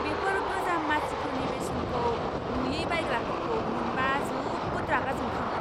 बेफोर गोजाम मासिफोरनि बेसेनखौ नुयै बायग्राफोरखौ मोनबा जोबोद रागा जोंखाङो।